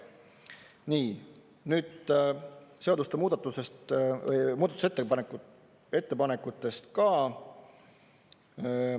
Nii, nüüd seaduste muudatusettepanekutest ka.